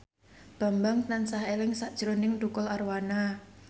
Bambang tansah eling sakjroning Tukul Arwana